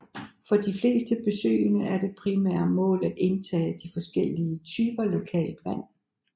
For de fleste besøgende er det primære mål at indtage de forskellige typer lokalt vand